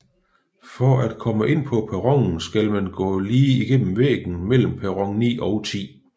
For at komme ind på perronen skal man gå lige igennem væggen mellem perron 9 og 10